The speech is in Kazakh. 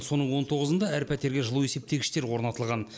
соның он тоғызында әр пәтерге жылу есептегіштер орнатылған